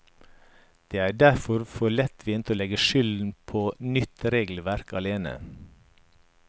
Det er derfor for lettvint å legge skylden på nytt regelverk alene.